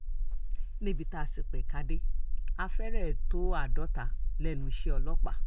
níbi tá a sì pẹ̀ka dé a fẹ́rẹ̀ tó àádọ́ta lẹ́nu iṣẹ́ ọlọ́pàá